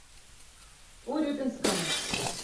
урюпинском